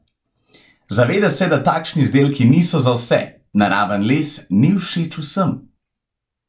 Zaveda se, da takšni izdelki niso za vse: "Naraven les ni všeč vsem.